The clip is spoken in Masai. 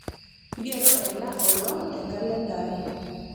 ngero ena olong te nkalenda ai